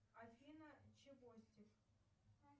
афина чевостик